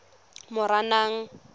moranang